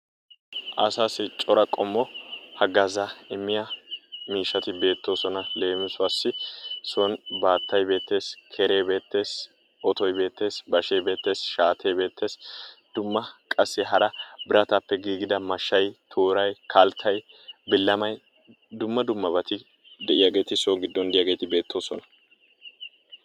Asaasi cora qommo hagazzaata immiyaa miishshati beettoosonal. Leemisuwaasi son baattay beettees. keree beettees. otoy beettees, bashshee beettees. Shaatee beettees. Dumma qassi hara birataappe giigida mashshay tooray kalttay billamay dumma dummabati de'iyaageti so giddon de'iyaageti beettoosona.